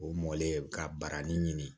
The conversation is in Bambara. O mɔlen ka barani ɲini